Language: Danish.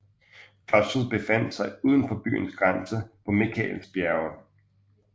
Klostret befandt sig uden for byens grænser på Mikaelsbjerget